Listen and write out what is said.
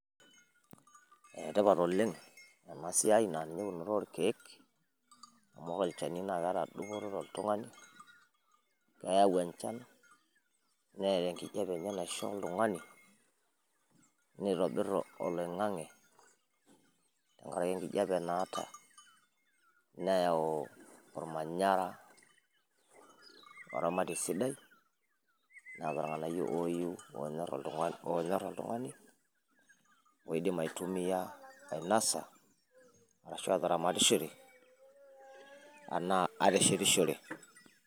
Enetipat oleng ena siiai orkeek amu ore olchani naa keeta dupoto toltung'ani keeyau enchan neeta enkijape enye naisho oltung'ani neitobir oloing'ange tenkaraki enkijape naata neyau ormanyara oramatie sidai neeta irng'anayio ooyiu oonyor oltung'ani ooidim aitumiya ainasa arashua ataramatishore enaa ateshetishore.